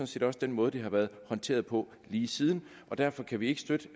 set også den måde det har været håndteret på lige siden og derfor kan vi ikke støtte